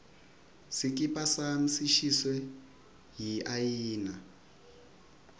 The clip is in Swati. sikipa sami sishiswe yiayina